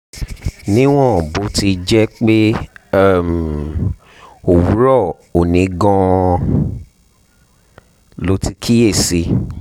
níwọ̀n bó ti jẹ́ pé um òwúrọ̀ òní gan-an lo ti kíyè sí i